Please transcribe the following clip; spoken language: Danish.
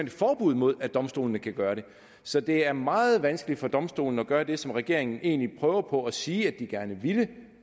et forbud imod at domstolene kan gøre det så det er meget vanskeligt for domstolene at gøre det som regeringen egentlig prøver på at sige at de gerne ville